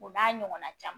O n'a ɲɔgɔnna caman